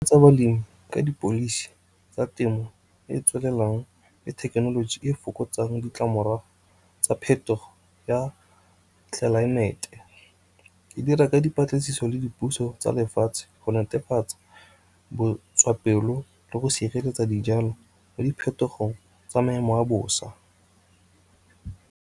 Tsa balemi ka tsa temo e e tswelelang le thekenoloji e fokotsang ditlamorago tsa phetogo ya tlelaemete. Di dira ka dipatlisiso le dipuso tsa lefatshe go netefatsa botswapelo le go sireletsa dijalo, le diphetogo tsa maemo a bosa.